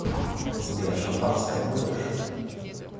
сбер шампанское будешь